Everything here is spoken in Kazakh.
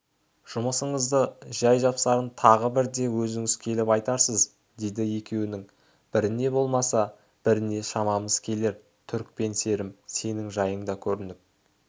жұмысыңыздың жай-жапсарын тағы бірде өзіңіз келіп айтарсыз деді екеуінің біріне болмаса біріне шамамыз келер түрікпен серім сенің жайың да көрініп